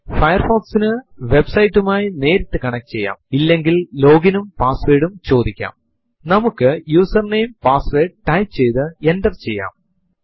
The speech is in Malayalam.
ഏതെങ്കിലും ഒരു പ്രത്യേക മാസത്തിന്റെ കലണ്ടർ കാണണമെങ്കിൽ ഉദാഹരണത്തിനു ഡിസംബർ 2070 പ്രോമ്പ് ൽ കാൽ സ്പേസ് 12 സ്പേസ് 2070 എന്ന് ടൈപ്പ് ചെയ്തു എന്റർ അമർത്തുക